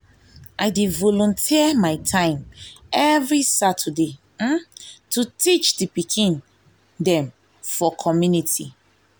i dey i dey volunteer my time every saturday um to teach di pikin dem for di community.